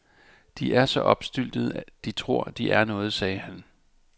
De er så opstyltede, de tror, de er noget, sagde han.